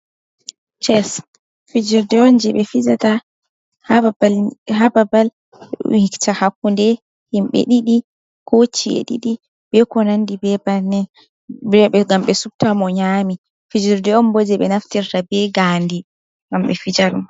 Ces fijirde on ,jey ɓe fijata haa babal wiccita hakkunde himɓe ɗiɗi, ko ci'e ɗiɗi be ko nanndi be bannin. Ngam ɓe subta mo nyaami fijirde on bo jey ɓe naftirta be ngaandi ngam ɓe fijara ɗum.